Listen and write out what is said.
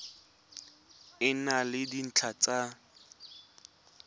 e na le dintlha tsa